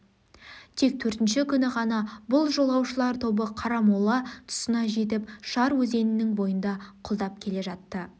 тек төртінші күні ғана бұл жолаушылар тобы қарамола тұсына жетіп шар өзенінің бойын құлдап келе жатты